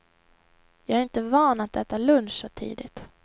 Jag är inte van att äta lunch så tidigt.